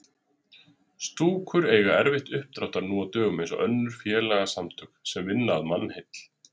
Stúkur eiga erfitt uppdráttar nú á dögum eins og önnur félagasamtök sem vinna að mannheill.